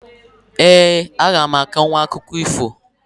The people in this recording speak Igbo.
Eeǃ A gam akọnwụ akụkọ ifo.